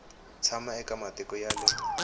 tshama eka matiko ya le